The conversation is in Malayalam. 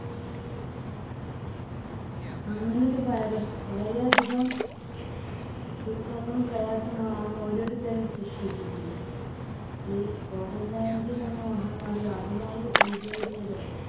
അങ്ങനെ ഒരു virus വളരെ അധികം ദുഃഖങ്ങളും പ്രയാസങ്ങളും നാം ഓരോരുത്തരും സൃഷ്ടിച്ചിട്ടുണ്ട്. ഈ covid nineteen എന്ന മഹാമാരി ആദ്യമായി ഉത്ഭവിച്ചത്